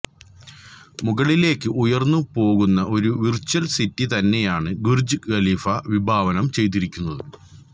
മുകളിലേക്ക് ഉയർന്നു പോകുന്ന ഒരു വിർച്വൽ സിറ്റി തന്നെയായാണ് ബുർജ് ഖലീഫ വിഭാവനം ചെയ്തിരിക്കുന്നത്